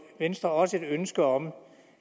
venstre også et ønske om